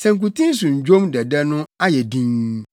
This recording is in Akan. Sankuten so nnwom dɛdɛ no ayɛ dinn.